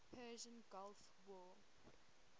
persian gulf war